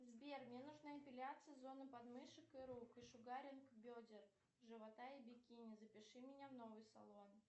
сбер мне нужна эпиляция зоны подмышек и рук и шугаринг бедер живота и бикини запиши меня в новый салон